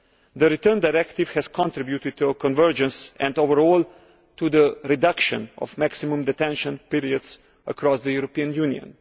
The Return Directive has contributed to a convergence and overall to the reduction of maximum detention periods across the European Union.